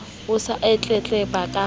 o se o tletleba ka